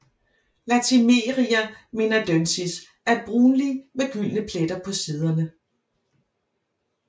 Latimeria menadoensis er brunlig med gyldne pletter på siderne